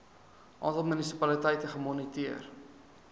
aantal munisipaliteite gemoniteer